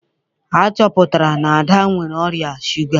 A chọpụtara na Ada nwere ọrịa shuga